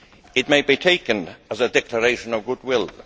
It may be taken as a declaration of goodwill.